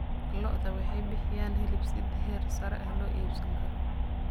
Lo'da lo'da waxay bixiyaan hilib si heer sare ah loo iibsan karo.